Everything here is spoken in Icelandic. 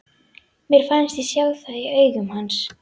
Mér fannst ég sjá það í augum hans.